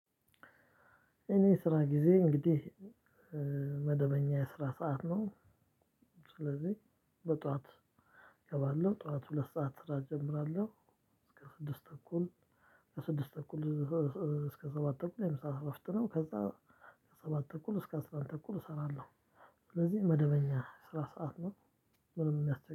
የኔ የስራ ጊዜ እንግዲህ መደበኛ የስራ ሰዓት ነው። ስለዚህ በጠዋት ገባለው ጠዋት ሁለት ሰዓት ስራ እጀምራለሁ ከስድስት እኩል ከስድስት በኩል እስከ ሰባት በኩል የምሳ እረፍት ነው። ከዛ ከሰባት ተኩል እስከ አስራ አንድ ተኩል እሰራለሁ። ስለዚህ መደበኛ ስራ ሰዓት ነው ምንም የሚያስቸግር